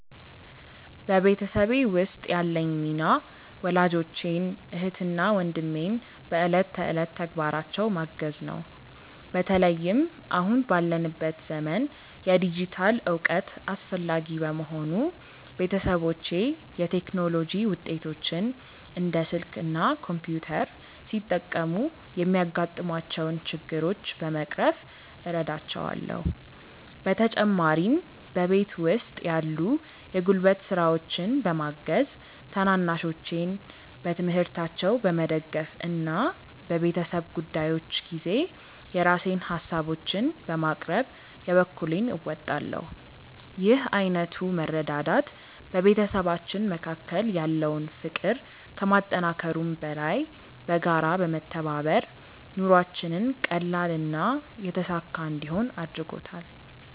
በቤተሰቤ ውስጥ ያለኝ ሚና ወላጆቼን፣ እህትና ወንድሜን በዕለት ተዕለት ተግባራቸው ማገዝ ነው። በተለይም አሁን ባለንበት ዘመን የዲጂታል እውቀት አስፈላጊ በመሆኑ፣ ቤተሰቦቼ የቴክኖሎጂ ውጤቶችን (እንደ ስልክ እና ኮምፒውተር) ሲጠቀሙ የሚያጋጥሟቸውን ችግሮች በመቅረፍ እረዳቸዋለሁ። በተጨማሪም በቤት ውስጥ ያሉ የጉልበት ስራዎችን በማገዝ፣ ታናናሾቼን በትምህርታቸው በመደገፍ እና በቤተሰብ ጉዳዮች ጊዜ የራሴን ሃሳቦችን በማቅረብ የበኩሌን እወጣለሁ። ይህ ዓይነቱ መረዳዳት በቤተሰባችን መካከል ያለውን ፍቅር ከማጠናከሩም በላይ፣ በጋራ በመተባበር ኑሯችንን ቀላልና የተሳካ እንዲሆን አድርጎታል።